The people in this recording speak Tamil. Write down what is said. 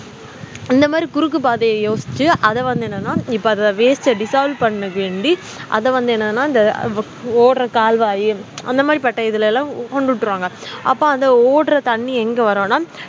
இந்த மாதிரி குறுக்கு பாதைய யோசிச்சு அத வந்து என்னனா இத waste அஹ் dissolve பண்ணி வேண்டி அத வந்து என்னனா இத ஓடுற கால்வாய் அந்த மாதிரி பட்டைளலாம் கொண்டு உட்ட்ருவாங்க அப்போ ஓடுற தண்ணி எங்க வரும்னா